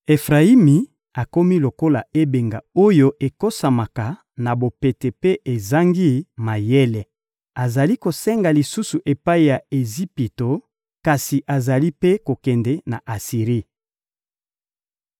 Efrayimi akomi lokola ebenga oyo ekosamaka na bopete mpe ezangi mayele: azali kosenga lisungi epai ya Ejipito, kasi azali mpe kokende na Asiri.